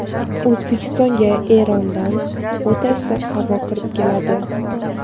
O‘zbekistonga Erondan o‘ta issiq havo kirib keladi.